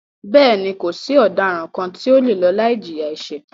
Bẹ́ẹ̀ni, kò sí ọ̀daràn kàn tí o le lọ láì jìyà ẹ̀ṣẹ̀.